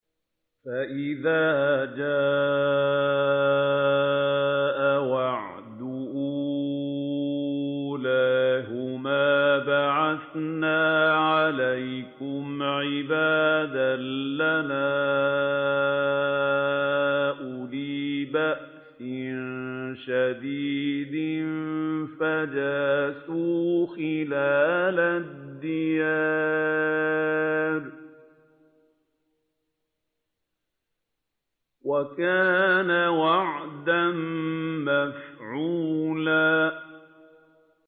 فَإِذَا جَاءَ وَعْدُ أُولَاهُمَا بَعَثْنَا عَلَيْكُمْ عِبَادًا لَّنَا أُولِي بَأْسٍ شَدِيدٍ فَجَاسُوا خِلَالَ الدِّيَارِ ۚ وَكَانَ وَعْدًا مَّفْعُولًا